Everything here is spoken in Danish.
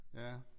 Ja